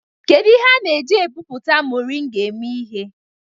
Kedu ihe a na-eji epupụta moringa eme ihe?